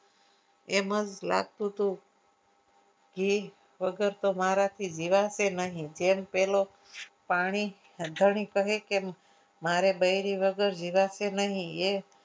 એમ જ લાગતું હતું ઘી વગર તો મારે મારાથી જીવાશે નહીં ઘેર પહેલો પાણી ધણી કહે કે મારે બૈરી વગર જીવાશે નહીં એમ